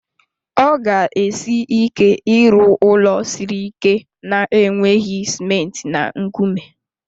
Ọ ga esi ike ịrụ ụlọ siri ike na-enweghị ciment na nkume